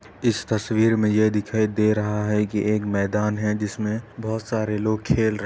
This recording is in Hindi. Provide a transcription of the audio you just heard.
इस तस्वीर में यह दिखाई दे रहा है कि एक मैदान है जिसमें बहोत सारे लोग खेल रहे --